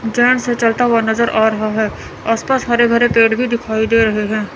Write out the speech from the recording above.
जान सा चलता हुआ नजर आ रहा है आस पास हरे भरे पेड़ भी दिखाई दे रहे हैं।